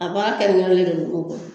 A baara kɛli ɲa de be nunnu kɔrɔ